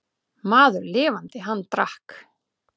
Maður lifandi, hann drakk.